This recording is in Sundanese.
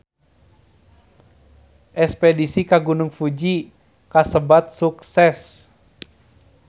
Espedisi ka Gunung Fuji kasebat sukses